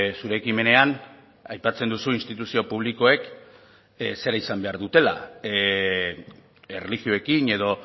zure ekimenean aipatzen duzu instituzio publikoek zera izan behar dutela erlijioekin edo